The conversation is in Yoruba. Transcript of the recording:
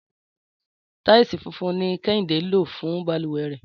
Táìsì funfun ni Kẹ́hìndé lò fún balùwẹ̀ rẹ̀